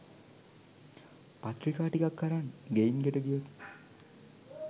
පත්‍රිකා ටිකක් අරන් ගෙයින් ගෙට ගියොත්